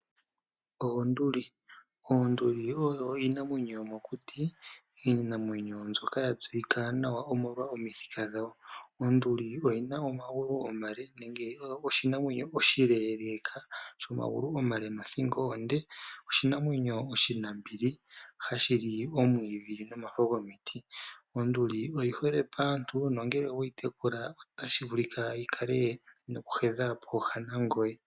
Oonduli . Oonduli oyo iinamwenyo yomokuti iinamwenyo mbyoka ya tseyika nawa omolwa omithika dhayo . Onduli oyina omagulu omale nenge oyo oshinamwenyo oshileeleka shomagulu omale nothingo onde . Oshinamwenyo oshinambili hashili omwiidhi nomafo gomiti. Onduli oyihole paantu nongele oweyi tekula otashi vulika yikale noku hedha pooha nangoye.